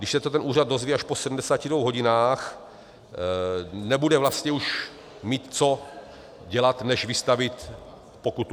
Když se to ten úřad dozví až po 72 hodinách, nebude vlastně už mít co dělat než vystavit pokutu.